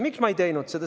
Miks ma ei teinud seda?